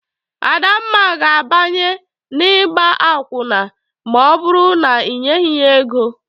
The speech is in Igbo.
Adamma ga-abanye n'igba akwụna ma ọ bụrụ na inyeghi ya ego.